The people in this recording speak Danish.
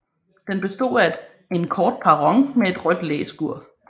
Den bestod af en kort perron med et rødt læskur